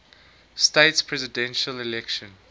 states presidential election